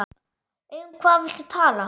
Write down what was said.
Um hvað viltu tala?